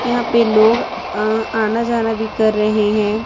यहां पे लोग अह आना जाना भी कर रहे हैं।